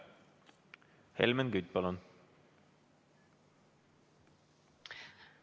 Helmen Kütt, palun!